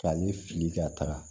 K'ale fili ka taga